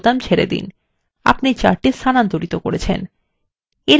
আপনি chart স্থানান্তর করেছেন